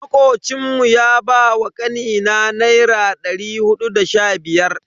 Makocin mu ya ba kanina naira dari hudu da sha biyar.